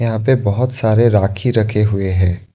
यहां पे बहुत सारे राखी रखे हुए हैं।